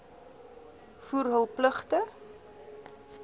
voer hul pligte